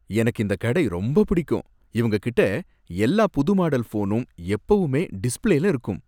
எனக்கு இந்த கடை ரொம்ப பிடிக்கும். இவங்ககிட்ட எல்லா புது மாடல் ஃபோனும் எப்பவுமே டிஸ்ப்ளேல இருக்கும்.